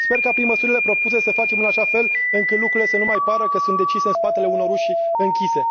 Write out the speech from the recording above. Sper ca, prin măsurile propuse, să facem în așa fel încât lucrurile să nu mai pară că sunt decise în spatele unor uși închise.